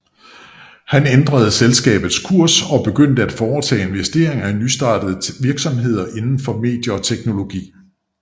Han ændrede selskabets kurs og begyndte at foretage investeringer i nystartede virksomheder inden for medier og teknologi